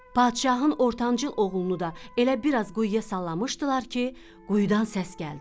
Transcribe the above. Padşahın ortancıl oğlunu da elə biraz quyuya sallamışdılar ki, quyudan səs gəldi.